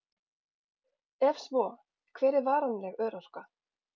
Ef svo, hver er varanleg örorka?